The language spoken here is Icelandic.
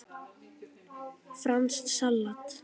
Franskt salat